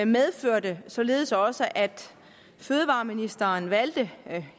medførte således også at fødevareministeren valgte